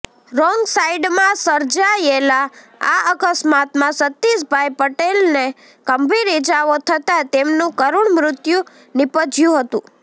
wrong સાઈડમાં સર્જાયેલા આ અકસ્માતમાં સતિષભાઈ પટેલને ગંભીર ઈજાઓ થતાં તેમનું કરૂણ મૃત્યુ નીપજયું હતું